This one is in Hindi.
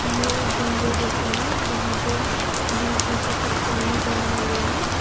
ए एक जंगल जैसा है जहां पे बीच में से कुछ पानी जमा हुआ है।